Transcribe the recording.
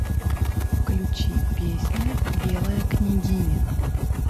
включи песня белая княгиня